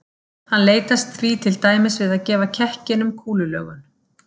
Hann leitast því til dæmis við að gefa kekkinum kúlulögun.